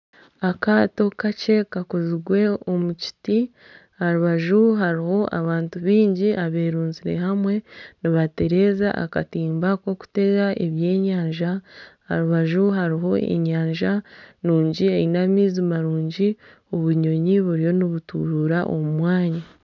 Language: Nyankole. Akaato kakye kakozirwe omu kiti aha rubaju hariho abantu baingi abeerunzire hamwe nibatereza akatimba k'okutega ebyenyanja aha rubaju hariho enyanja nungi eine amaizi marungi, obunyonyi buriyo nibuturuura omu mwanya.